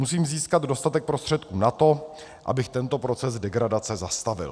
Musím získat dostatek prostředků na to, abych tento proces degradace zastavil.